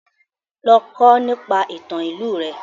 Lọ kọ́ nípa ìtàn ìlú rẹ!